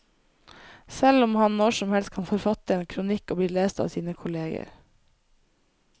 Selv om han når som helst kan forfatte en kronikk og bli lest av sine kolleger.